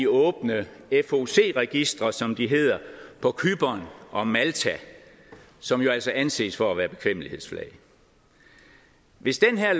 åbne foc registre som de hedder på cypern og malta som jo altså anses for at være bekvemmelighedsflag hvis det her